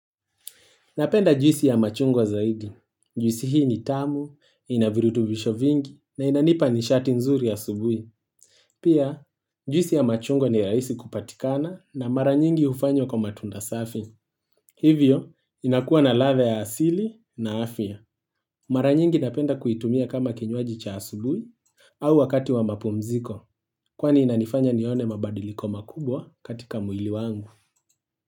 Napenda juisi ya machungwa zaidi. Juisi hii ni tamu, inavirutubisho vingi, na inanipa nishati nzuri ya subui. Pia, juisi ya machungwa ni raisi kupatikana na mara nyingi ufanywa kwa matunda safi. Hivyo, inakuwa na ladha ya asili na afia. Mara nyingi napenda kuitumia kama kinywaji cha asubui au wakati wa mapumziko, kwani inanifanya nione mabadiliko makubwa katika mwili wangu.